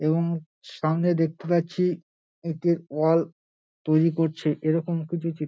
এবং সঙ্গে দেখতে পাচ্ছি একটি ওয়াল তৈরী করছে এরকম কিছু চি --